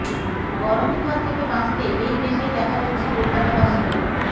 গরমের হাত থেকে বাঁচতে এই বেশেই দেখা যাচ্ছে কলকাতাবাসীকে